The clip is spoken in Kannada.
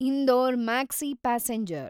ಇಂದೋರ್ ಮಾಕ್ಸಿ ಪ್ಯಾಸೆಂಜರ್